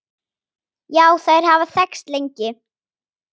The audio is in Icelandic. Já, þær hafa þekkst lengi.